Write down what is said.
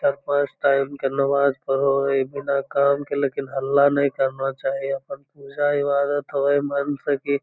चार पांच टाइम के नमाज़ पढ़ो ऐ काम के लेकिन हल्ला नहीं करना चाहिए अपन पूजा इबादद होए मन से की --